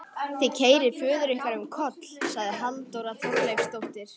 Þið keyrið föður ykkar um koll, sagði Halldóra Þorleifsdóttir.